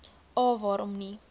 a waarom nie